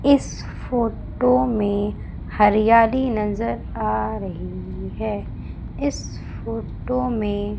इस फोटो में हरियाली नजर आ रही है इस फोटो में--